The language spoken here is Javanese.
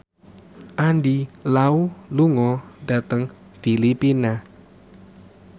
Andy Lau lunga dhateng Filipina